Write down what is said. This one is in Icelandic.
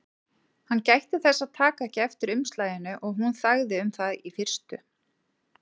Hann gætti þess að taka ekki eftir umslaginu og hún þagði um það í fyrstu.